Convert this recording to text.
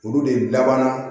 Olu de labanna